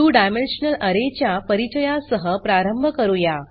2 dimensional array च्या परिचया सह प्रारंभ करूया